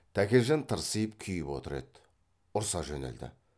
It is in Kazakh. тәкежан тырсиып күйіп отыр еді ұрса жөнелді